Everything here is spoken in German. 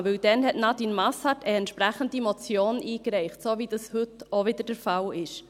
Denn damals hatte Nadine Masshardt eine entsprechende Motion eingereicht, so wie es heute auch wieder der Fall ist.